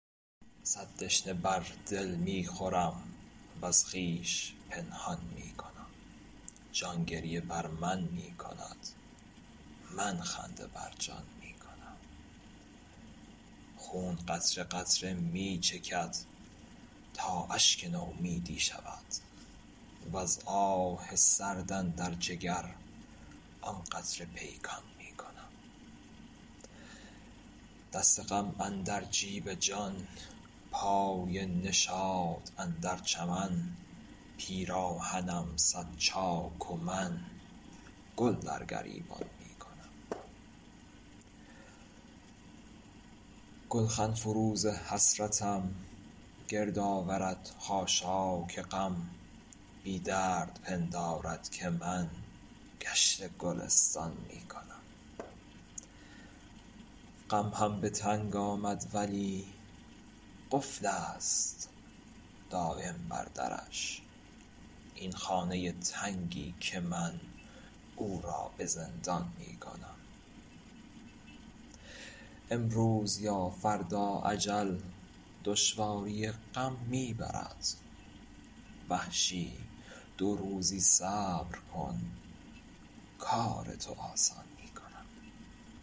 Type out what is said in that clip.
صد دشنه بر دل می خورم وز خویش پنهان می کنم جان گریه بر من می کند من خنده بر جان می کنم خون قطره قطره می چکد تا اشک نومیدی شود وز آه سرد اندر جگر آن قطره پیکان می کنم دست غم اندر جیب جان پای نشاط اندر چمن پیراهنم صد چاک و من گل در گریبان می کنم گلخن فروز حسرتم گردآورد خاشاک غم بی درد پندارد که من گشت گلستان می کنم غم هم به تنگ آمد ولی قفلست دایم بر درش این خانه تنگی که من او را به زندان می کنم امروز یا فردا اجل دشواری غم می برد وحشی دو روزی صبر کن کار تو آسان می کنم